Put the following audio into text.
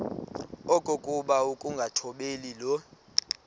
okokuba ukungathobeli le